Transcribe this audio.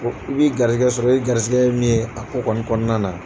I b'i garizɛgɛ sɔrɔ i garizɛgɛ ye min ye a ko kɔni kɔnɔna na.